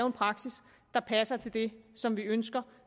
en praksis der passer til det som vi ønsker